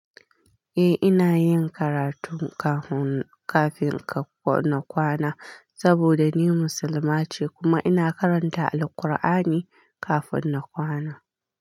Eh, ina yin karatun kafin kafin ka na kwana saboda ni musulma ce kuma ina karanta Alkur'ani kafin na kwana.